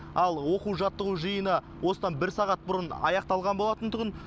ал оқу жаттығу жиыны осыдан бір сағат бұрын аяқталған болатын тұғын